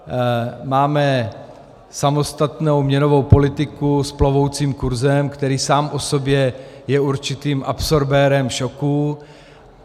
Máme samostatnou měnovou politiku s plovoucím kurzem, který sám o sobě je určitým absorbérem šoku.